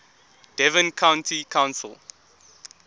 devon county council